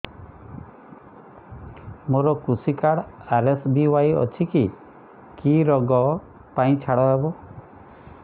ମୋର କୃଷି card RSBY ଅଛି କି କି ଋଗ ପାଇଁ ଛାଡ଼ ହବ